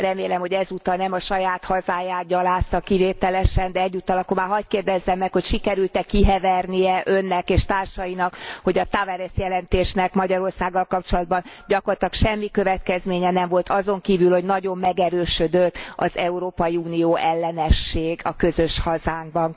Remélem, hogy ezúttal nem a saját hazáját gyalázta kivételesen, de egyúttal akkor már hadd kérdezzem meg, hogy sikerült e kihevernie Önnek és társainak, hogy a Tavares jelentésnek Magyarországgal kapcsolatban gyakorlatilag semmi következménye nem volt azon kívül, hogy nagyon megerősödött az Unió ellenesség közös hazánkban?